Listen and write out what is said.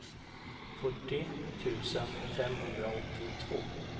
fyrtio tusen femhundraåttiotvå